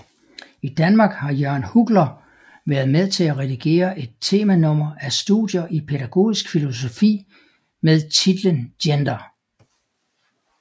I Danmark har Jørgen Huggler været med til at redigere et temanummer af Studier i Pædagogisk Filosofi med titlen Gender